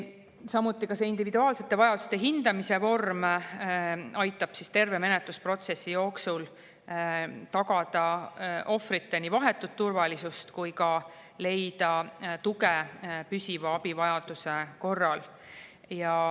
Samuti aitab see individuaalsete vajaduste hindamise vorm terve menetlusprotsessi jooksul tagada ohvrite vahetut turvalisust ja leida tuge püsiva abivajaduse korral.